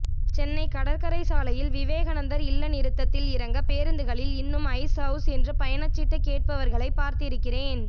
சென்னை கடற்கரைச்சாலையில் விவேகாநந்தர் இல்ல நிறுத்தத்தில் இறங்க பேரூந்துகளில் இன்னும் ஐஸ் அவுஸ் என்று பயணச்சீட்டு கேட்பவர்களை பார்த்திருக்கிறேன்